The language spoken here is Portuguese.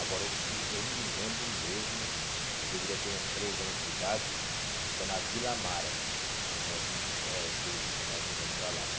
Agora, o uh eu me lembro mesmo, eu deveria ter uns três anos de idade, foi na Vila Amara, que nós mu eh que eles hum que nós mudamos para lá né.